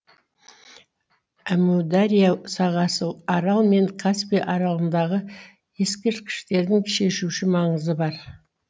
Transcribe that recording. әмудария сағасы арал мен каспий аралығындағы ескерткіштердің шешуші маңызы бар